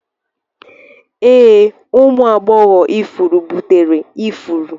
Ee, ụmụ agbọghọ ifuru buteri ifuru.